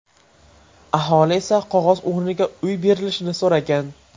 Aholi esa qog‘oz o‘rniga uy berilishini so‘ragan.